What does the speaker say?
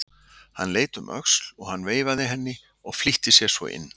Hún leit um öxl og hann veifaði henni og flýtti sér svo inn.